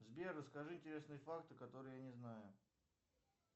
сбер расскажи интересные факты которые я не знаю